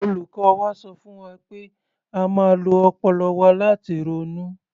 Olùkọ́ wa sọ fún wa pé a máa ń lo ọpọlọ wa láti ronú.